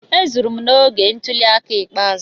Ezuru m n'oge ntuli aka ikpeazụ.